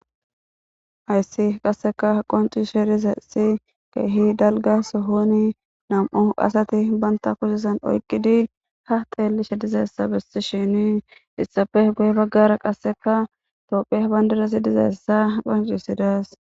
hayssi qasseka qoncisishe dizasi keehi dalgasohoni nam7u asati banta kusesan oyqidi ha teelishe dizaessa besti shini issafe gu7e baggara qasseka tophiya bandidasi dizaessa qhoncisidas